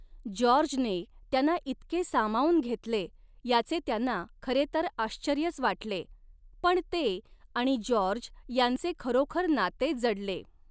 जॉर्जने त्यांना इतके सामावून घेतले याचे त्यांना खरे तर आश्चर्यच वाटले, पण ते आणि जॉर्ज यांचे खरोखर नाते जडले.